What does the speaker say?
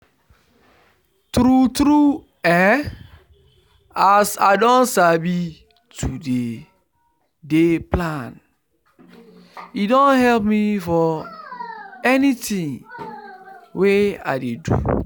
true true[um]as i don sabi to dey to dey plan e don help me for anything wey i dey do